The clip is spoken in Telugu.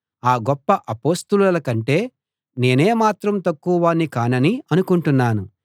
ఆ గొప్ప అపొస్తలుల కంటే నేనేమాత్రం తక్కువ వాణ్ణి కానని అనుకుంటున్నాను